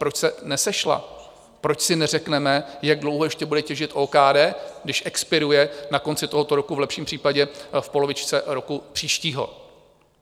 Proč se nesešla, proč si neřekneme, jak dlouho ještě bude těžit OKD, když expiruje na konci tohoto roku, v lepším případě v polovině roku příštího?